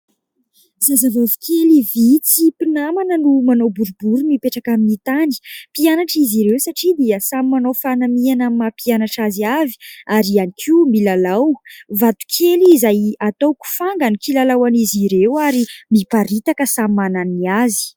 Zazavavy kely vitsy, mpinamana no mana boribory mipetraka amin'ny tany. Mpianatra izy ireo satria dia samy manao fanamiana amin'ny maha mpianatra azy avy ary ihany koa milalao. Vato kely izay atao kifanga no kilalaon'izy ireo ary miparitaka samy manana ny azy.